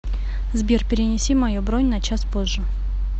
сбер перенеси мою бронь на час позже